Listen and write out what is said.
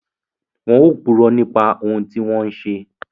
Wọn ò purọ́ nípa ohùn tí wọ́n ń ṣe